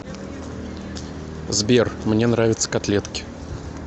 сбер мне нравятся котлетки